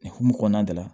Hukumu kɔnɔna de la